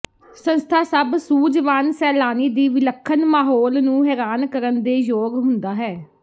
ਸੰਸਥਾ ਸਭ ਸੂਝਵਾਨ ਸੈਲਾਨੀ ਦੀ ਵਿਲੱਖਣ ਮਾਹੌਲ ਨੂੰ ਹੈਰਾਨ ਕਰਨ ਦੇ ਯੋਗ ਹੁੰਦਾ ਹੈ